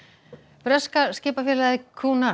breska skipafélagið